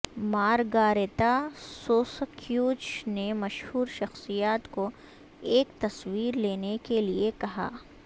Margarita سوسککیوچ نے مشہور شخصیات کو ایک تصویر لینے کے لئے کہا